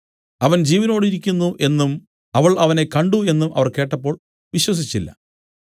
അവൻ ജീവനോടിരിക്കുന്നു എന്നും അവൾ അവനെ കണ്ട് എന്നും അവർ കേട്ടപ്പോൾ വിശ്വസിച്ചില്ല